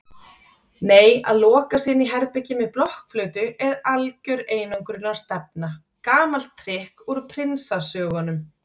Nei að loka sig inní herbergi með blokkflautu er algjör einangrunarstefna, gamalt trikk úr prinsasögunum.